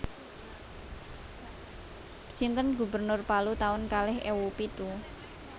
Sinten gubernur Palu taun kalih ewu pitu?